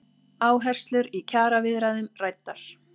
Áherslur í kjaraviðræðum ræddar